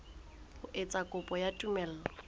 ho etsa kopo ya tumello